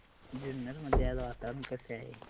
जुन्नर मध्ये आज वातावरण कसे आहे